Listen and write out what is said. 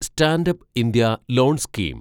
stand up India loan scheme